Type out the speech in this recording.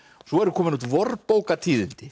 svo eru komin út